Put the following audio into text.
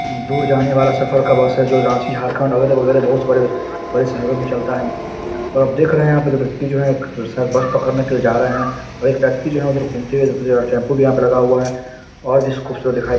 दूर जाने वाला सफर का बस हैजो रांची झारखंड अगल-बगल काफी सारे बड़े शहरो मे चलता है और आप देख रहे है जो एक व्यक्ति है बस पकड़ने के लिए जा रहा है एक व्यक्ति जो है घूमते हुए दिख रहा है टेम्पो भी यहाँ लगा हुआ है और --